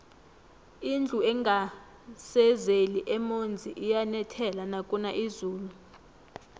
indlu engasezeli emonzi iyanethela nakuna izulu